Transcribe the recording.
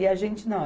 E a gente não.